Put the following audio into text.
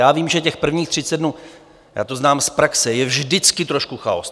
Já vím, že těch prvních 30 dnů, já to znám z praxe, je vždycky trošku chaos.